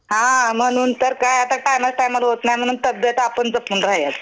हां म्हणून तर काय आता होत नाही म्हणून तब्बेत आपुन जपून राहायचं.